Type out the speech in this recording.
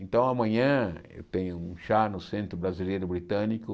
Então, amanhã eu tenho um chá no Centro Brasileiro Britânico.